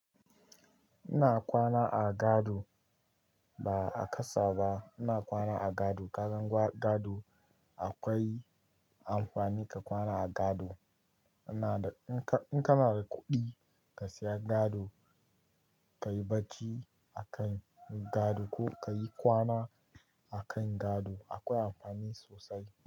Ina kwana a gado ba a ƙasa ba. Ina kwana a gado. Ka san gado akwai amfani ka kwana a gado. Ina da-- in ka, in kana da kuɗi ka siya gado, ka yi bacci a kan gado ko ka yi kwana a kan gado akwai amfani sosai.